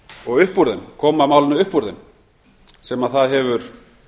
og upp úr þeim koma málinu upp úr þeim sem það hefur